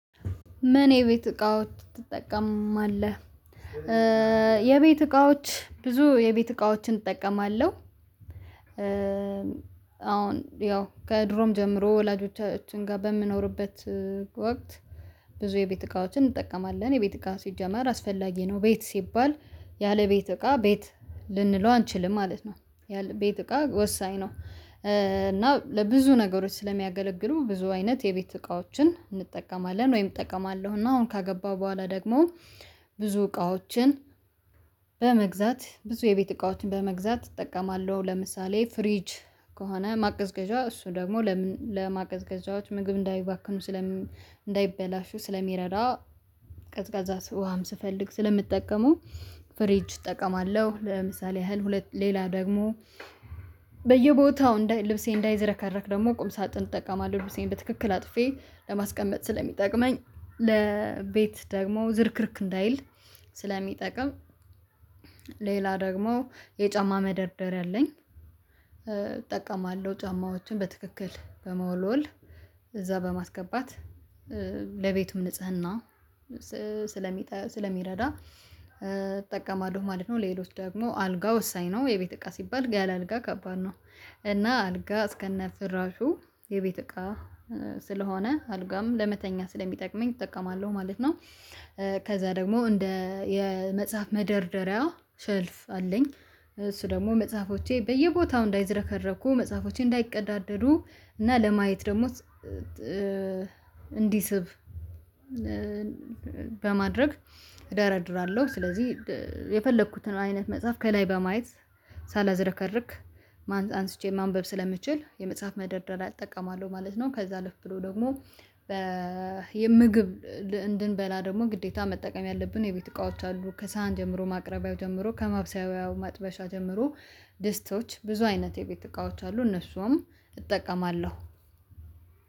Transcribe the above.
ምን የቤት እቃዎች ትጠቀማለህ? የቤት እቃዎች ብዙ የቤት እቃዎችን እጠቀማለሁ። አዎን ያው ከድሮም ጀምሮ ወላጆቻችን ጋር በምንኖርበት ወቅት ብዙ የቤት እቃዎችን እንጠቀማለን የቤት እቃ ሲጀመር አስፈላጊ ነው ቤት ሲባል ያለ ቤት እቃ ቤት ልንለው አንችልም ማለት ነው ቤት እቃ ወሳኝ ነው። እና ለብዙ ነገሮች ስለሚያገለግሉ ብዙ አይነት የቤት እቃዎችን እንጠቀማለን ወይም እጠቀማለሁ እና አሁን ካገባሁ በኋላ ደግሞ ብዙ እቃዎችን በመግዛት ብዙ የቤት እቃዎችን በመግዛት እጠቀማለሁ። ለምሳሌ ፍሪጅ ከሆነ ማቀዝቀዣ እሱ ደግሞ ለማቀዝቀዣዎች ምግብ እንዳይባክኑ ስለሚ እንዳይበላሹ ስለሚረዳ ቀዝቃዛ ውሃም ስፈልግ ስለምጠቀመው ፍሪጅ እጠቀማለሁ። ለምሳሌ ያህል ሁለት ሌላ ደግሞ በየቦታው ልብሴ እንዳይዘረከረክ ደግሞ ቁም ሳጥን እጠቀማለሁ ልብሴን በትክክል አጥፌ ለማስቀመጥ ስለሚጠቅመኝ ለቤት ደግሞ ዝርክርክ እንዳይል ስለሚጠቅም። ሌላ ደግሞ የጫማ መደርደሪያ አለኝ እጠቀማለሁ ጫማዎችን በትክክል በመወልወል እዛ በማስገባት ለቤቱም ንጽህና ስለሚረዳ እጠቀማለሁ ማለት ነው። ሌሎች ደግሞ አልጋ ወሳኝ ነው የቤት እቃ ሲባል ያለ አልጋ ከባድ ነው እና አልጋ እስከነ ፍራሹ የቤት እቃ ስለሆነ አልጋም ለመተኛ ስለሚጠቅመኝ እጠቀማለሁ ማለት ነው። ከዛ ደግሞ እንደ የመጽሐፍ መደርደሪያ ሸልፍ አለኝ እሱ ደግሞ መጽሐፎቼ በየቦታው እንዳይዝረከረኩ መጽሐፎቼ እንዳይቀዳደዱ እና ለማየት ደግሞ እንዲስብ በማድረግ እደረድራለሁ ስለዚህ የፈለኩትን አይነት መጽሐፍ ከላይ በማየት ሳላዝረከርክ አንስቼ ማንበብ ስለምችል የመጽሐፍ መደርደሪያ እጠቀማለሁ ማለት ነው። ከዛ አልፍ ብሎ ደግሞ የምግብ እንድንበላ ደግሞ ግዴታ መጠቀም ያለብን የቤት እቃዎች አሉ ከሳህን ጀምሮ ማቅረቢያው ጀምሮ ከማብሰያው መጥበሻ ጀምሮ ድስቶች ብዙ አይነት የቤት እቃዎች አሉ እነሱም እጠቀማለሁ።